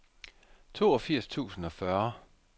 toogfirs tusind og fyrre